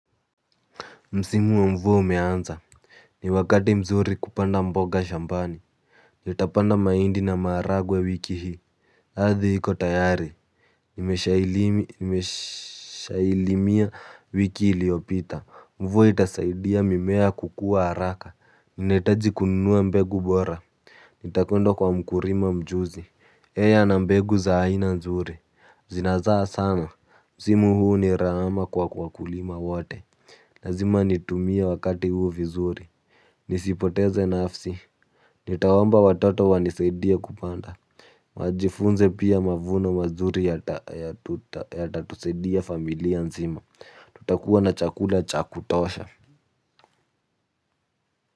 Msimu wa mvua ume anza. Ni wakati mzuri kupanda mboga shambani. Nitapanda mahindi na maharagwe wiki hii ardhi iko tayari. Nimeshailimia wiki iliopita. Mvua itasaidia mimea kukua haraka. Nina hitaji kununua mbegu bora. Nitakwenda kwa mkulima mjuzi yeye ana mbegu za aina nzuri. Zina zaa sana. Msimu huu ni rama kwa kwa kulima wote. Lazima nitumie wakati huu vizuri. Nisipoteze nafasi. Nitawaomba watoto wani saidie kupanda wajifunze pia mavuno mazuri yata tusaidia familia nzima. Tutakuwa na chakula cha kutosha.